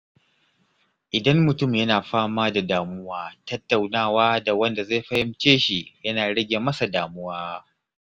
Idan mutum yana fama da damuwa, tattaunawa da wanda zai fahimce shi yana rage masa damuwa.